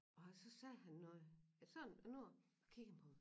Og så sagde han noget ja sådan et ord jeg kiggede på ham